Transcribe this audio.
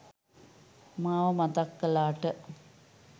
මාව මතක් කලාට